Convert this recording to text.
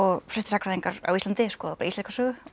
flestir sagnfræðingar á Íslandi skoða bara íslenska sögu og